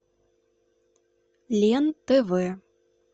лен тв